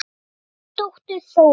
Þín dóttir, Þórunn.